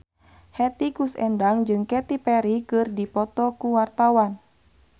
Hetty Koes Endang jeung Katy Perry keur dipoto ku wartawan